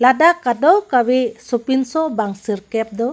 dak kadokave so pinso bang sirkep do.